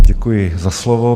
Děkuji za slovo.